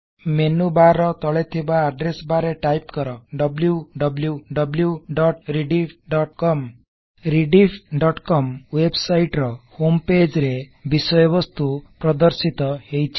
menu bar ର ତଳେଥିବା address bar ରେ ଟାଇପି କର160 wwwrediffcom rediffକମ୍ ୱେବସାଇଟ ର ହୋମପେଜ ରେ ବିଷୟ ବସ୍ତୁ ପ୍ରଦର୍ଶିତ ହେଇଛି